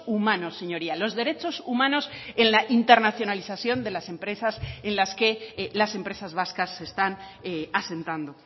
humanos señorías los derechos humanos en la internacionalización de las empresas en las que las empresas vascas se están asentando